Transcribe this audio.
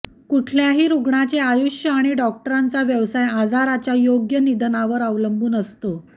कुठल्याही रुग्णाचे आयुष्य आणि डॉक्टरांचा व्यवसाय आजाराच्या योग्य निदानावर अवलंबून असतो